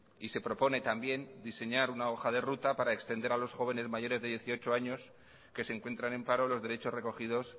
y se propone también diseñar una hoja de ruta para extender a los jóvenes mayores de dieciocho años que se encuentran en paro los derechos recogidos